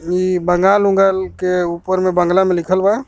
ई बंगाल वंगाल के ऊपर में बांग्ला में लिख़ल बा.